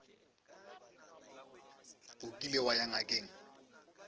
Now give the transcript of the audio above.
o kile wa ya ngakeng